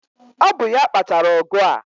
Ọ bụ ya kpatara ọgụ a